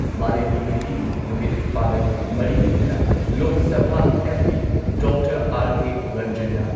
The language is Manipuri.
ꯃꯥꯂꯦꯝꯒꯤ ꯅꯨꯄꯤꯒꯤ ꯅꯨꯃꯤꯠ ꯄꯥꯂꯟ ꯃꯔꯤ ꯂꯩꯅꯅ Lok Sabha MP. Doctor R K. ꯔꯟꯖꯟꯅ